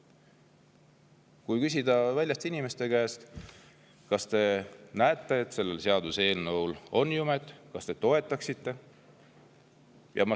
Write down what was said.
Kui küsida inimeste käest, kas te näete, et sellel seaduseelnõul on jumet, kas te toetaksite …